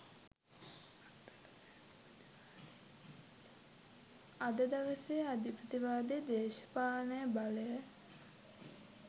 අද දවසේ අධිපතිවාදී දේශපාලන බලය